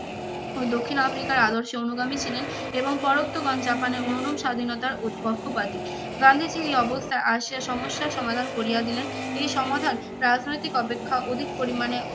ও দক্ষিণ আফ্রিকার আদর্শে অনুগামী ছিলেন এবংপরোক্তগণ জাপানের অনুরূপ স্বাধীনতার উৎপক্ষবাদী। গান্ধীজী এই অবস্থায় আসিয়া সমস্যার সমাধান করিয়া দিলেন। এই সমাধান রাজনৈতিক অপেক্ষা অধিক পরিমাণে